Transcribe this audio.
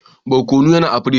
Barkonun yana a pirig.